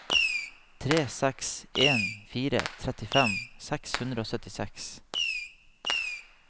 tre seks en fire trettifem seks hundre og syttiseks